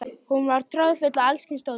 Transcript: Hún var troðfull af alls kyns dóti.